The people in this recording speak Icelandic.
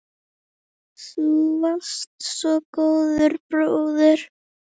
Þú varst svo góður bróðir.